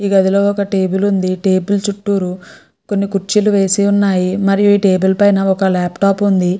ఈ గదిలో ఒక టేబుల్ వుంది టేబుల్ చుట్టూ కొన్ని కుర్చీలు వేసి వున్నాయ్ మరియు ఈ టేబుల్ మేధా ఒక లాప్టాప్ వుంది.